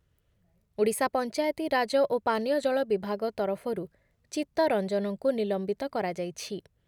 ଓଡିଶା ପଞ୍ଚାୟତିରାଜ ଓ ପାନୀୟ ଜଳ ବିଭାଗ ତରଫରୁ ଚିତ୍ତ ରଞ୍ଜନଙ୍କୁ ନିଲମ୍ବିତ କରାଯାଇଛି I